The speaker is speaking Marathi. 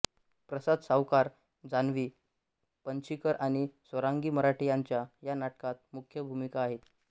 प्रसाद सावकार जान्हवी पणशीकर आणि स्वरांगी मराठे यांच्या या नाटकात मुख्य भूमिका आहेत